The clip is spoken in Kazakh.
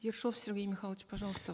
ершов сергей михайлович пожалуйста